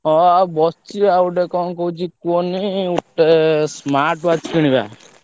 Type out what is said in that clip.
ହଁ ଆଉ ~ବସ ~ଚି ଆଉ ଗୋଟେ କଣ କହୁଛି କୁହନି ଗୋଟେ smart watch କିଣିବା।